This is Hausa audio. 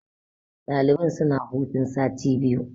Ɗalibai suna hutun sati biyu.